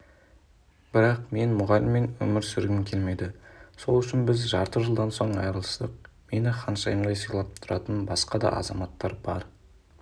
бірақ мен мұғаліммен өмір сүргім келмеді сол үшін біз жарты жылдан соң айырылыстық мені ханшайымдай сыйлап тұратын басқа да азаматтар бар